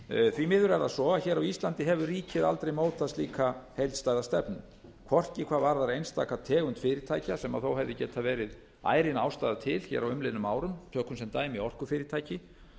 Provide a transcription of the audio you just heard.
því miður er það svo að hér á íslandi hefur ríkið aldrei mótað slíka heildstæða stefnu hvorki hvað varðar einstaka tegund fyrirtækja sem þó hefði getað verið ærin ástæða til á umliðnum árum tökum sem dæmi orkufyrirtæki